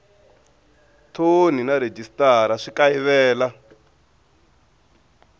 thoni na rhejisitara swi kayivela